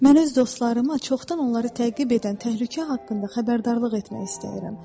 Mən öz dostlarımı çoxdan onları təqib edən təhlükə haqqında xəbərdarlıq etmək istəyirəm.